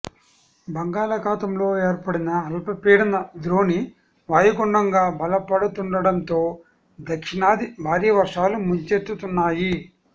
బంగాళఖాతంలో ఏర్పడిన అల్పపీడన ద్రోణి వాయుగుండంగా బలపడుతుండటంతో దక్షిణాదిని భారీ వర్షాలు ముంచెత్తుతున్నాయి